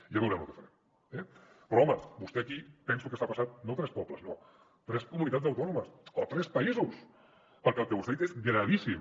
ja veurem lo què farem eh però home vostè aquí penso que s’ha passat no tres pobles no tres comunitats autònomes o tres països perquè el que vostè ha dit és gravíssim